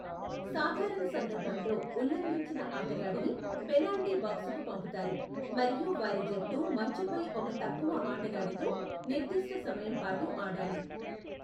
సాధారణ సందర్భంలో, ఉల్లంఘించిన ఆటగాడిని పెనాల్టీ బాక్సుకు పంపుతారు మరియు వారి జట్టు మంచుపై ఒక తక్కువ ఆటగాడితో నిర్దిష్ట సమయం పాటు ఆడాలి.